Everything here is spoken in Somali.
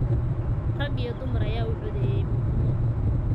Rag iyo dumar ayaa u codeeyay midnimo.